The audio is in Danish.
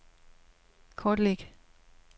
kortlæg